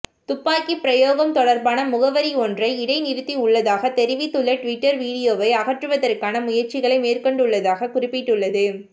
துப்பாக்கிபிரயோகம் தொடர்பான முகவரியொன்றை இடைநிறுத்தியுள்ளதாக தெரிவித்துள்ள டுவிட்டர் வீடியோவை அகற்றுவதற்கான முயற்சிகளை மேற்கொண்டுள்ளதாக குறிப்பிட்டுள்ளது